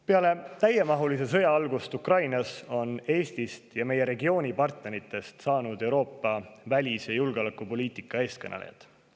Peale täiemahulise sõja algust Ukrainas on Eestist ja meie regiooni partneritest saanud Euroopa välis‑ ja julgeolekupoliitika eestkõnelejad.